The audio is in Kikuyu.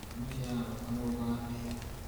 mwana ũcioararũgarũga atĩa?